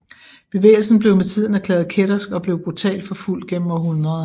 Bevægelsen blev med tiden erklæret kættersk og blev brutalt forfulgt gennem århundreder